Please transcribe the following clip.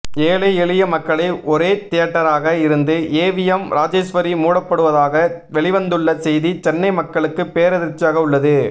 ஏழை எளிய மக்களை ஒரே தியேட்டராக இருந்த ஏவிஎம் ராஜேஸ்வரி மூடப்படுவதாக வெளிவந்துள்ள செய்தி சென்னை மக்களுக்கு பேரதிர்ச்சியாக உள்ளது